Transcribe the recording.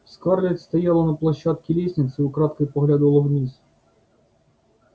скарлетт стояла на площадке лестницы и украдкой поглядывала вниз